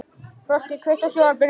Frosti, kveiktu á sjónvarpinu.